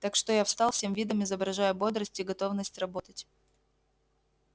так что я встал всем видом изображая бодрость и готовность работать